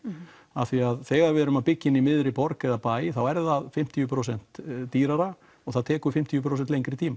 af því þegar við erum að byggja inni í miðri borg eða bæ þá er það fimmtíu prósentum dýrara og það tekur fimmtíu prósent lengri tíma